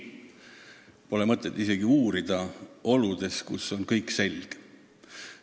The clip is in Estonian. Pole mõtet isegi uurida oludes, kus kõik on selge.